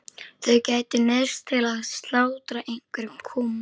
Þau gætu neyðst til að slátra einhverjum kúm.